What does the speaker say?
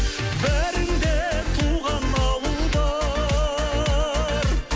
бәріңде туған ауыл бар